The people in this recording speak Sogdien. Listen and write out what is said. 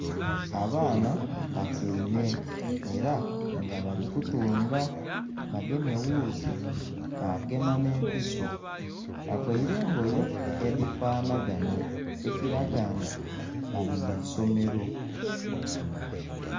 Abaana batyaime era nga bali kutunga bagemye ewuuzi bagema n'empiso bavaire engoye edhifanhaganha ekiraga nga bali mu isomero.